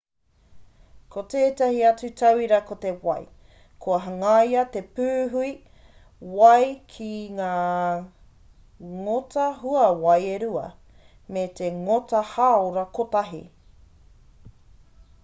ko tētahi atu tauira ko te wai kua hangaia te pūhui wai ki ngā ngota hauwai e rua me te ngota hāora kotahi